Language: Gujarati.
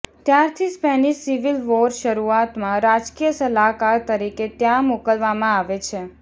ત્યારથી સ્પેનિશ સિવિલ વોર શરૂઆતમાં રાજકીય સલાહકાર તરીકે ત્યાં મોકલવામાં આવે છે